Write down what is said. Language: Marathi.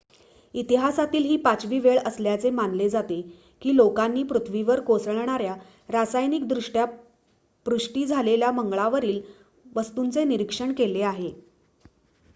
इतिहासातील ही पाचवी वेळ असल्याचे मानले जाते की लोकांनी पृथ्वीवर कोसळणार्‍या रासायनिकदृष्ट्या पुष्टी झालेल्या मंगळावरील वस्तूंचे निरीक्षण केले आहे